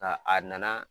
Nka a nana